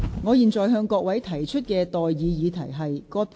我現在向各位提出上述待決議題。